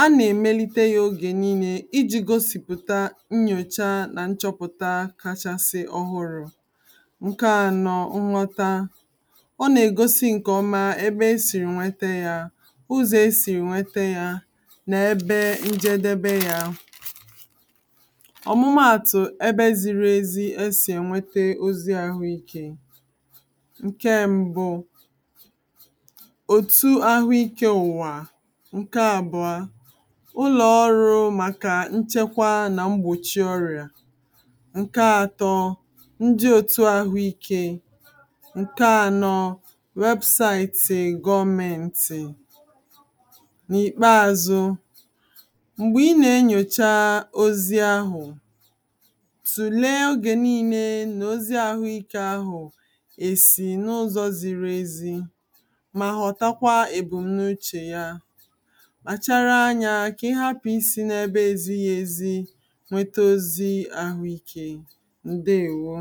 a na-emelite yoga nille iji̇ gosìpụ̀ta nnyòcha nà nchọpụ̀ta kachasị ọhụrụ̇ ǹke anọ, nghọta ọ nà-ègosi ǹkè ọma ebe esìrì nwete yȧ ǹke àtọ inje otu àhụ ikė n’ìkpeázʊ́ m̀gbè ị nà-enyòcha ozi ahụ̀ tùle ogè niilė nà ozi ahụikė ahụ̀ èsì n’ụzọ̇ ziri ezi mà họ̀takwa èbù n’uchè ya mà chara anyȧ kà ị hapụ̀ isi n’ebe ezighi̇ ezi nwete oziahụikė ǹdeèwo